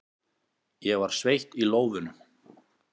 Ég var sveitt í lófunum.